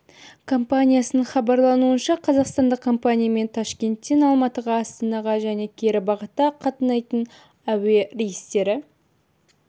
компаниясының хабарлауынша қазақстандық компаниямен ташкенттен алматыға астанаға және кері бағытта қатынайтын әуе рейстері